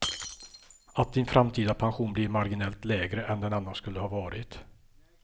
Att din framtida pension blir marginellt lägre än den annars skulle ha varit.